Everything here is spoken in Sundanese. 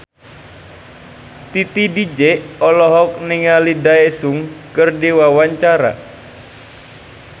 Titi DJ olohok ningali Daesung keur diwawancara